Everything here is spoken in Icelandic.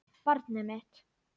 Barnið mitt.